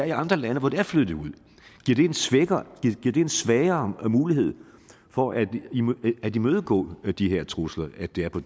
i andre lande hvor det er flyttet ud giver en svagere mulighed for at imødegå de her trusler at det er på